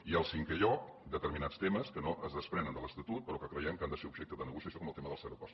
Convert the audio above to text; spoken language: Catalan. i en cinquè lloc determinats temes que no es desprenen de l’estatut però que creiem que han de ser objecte de negociació com el tema dels aeroports